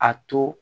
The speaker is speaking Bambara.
A to